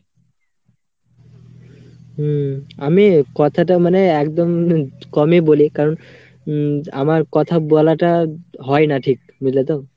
হম। আমি কথাটা মানে একদম কমই বলি কারণ উম আমার কথা বলাটা হয়না ঠিক বুঝলে তো?